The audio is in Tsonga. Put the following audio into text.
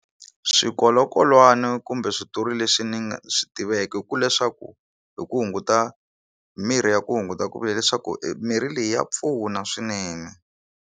Swikolokolwana kumbe switori leswi ni nga swi tiveki hi ku leswaku hi ku hunguta mirhi ya ku hunguta ku vula leswaku mirhi leyi ya pfuna swinene.